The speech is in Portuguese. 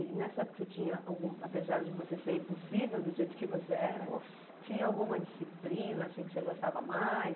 E nessa época você tinha algum, apesar de você ser impossível do jeito que você era, nossa tinha alguma disciplina assim que você gostava mais?